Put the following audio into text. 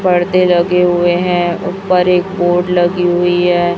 पर्दे लगे हुए हैं ऊपर एक बोर्ड लगी हुई है।